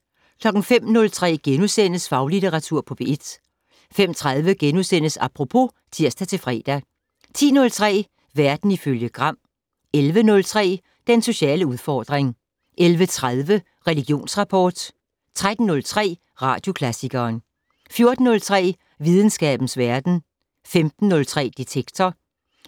05:03: Faglitteratur på P1 * 05:30: Apropos *(tir-fre) 10:03: Verden ifølge Gram 11:03: Den sociale udfordring 11:30: Religionsrapport 13:03: Radioklassikeren 14:03: Videnskabens verden 15:03: Detektor